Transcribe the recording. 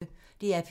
DR P1